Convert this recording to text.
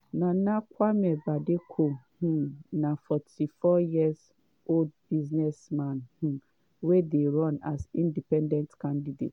nana kwame bediako um na 44-year-old business man um wey dey run as independent candidate.